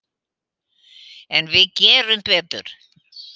En við gerum betur.